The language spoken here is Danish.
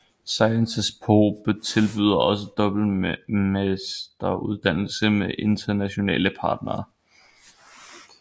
SciencesPo tilbyder også dobbelt masteruddannelse med internationale partnere